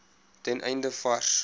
ten einde vars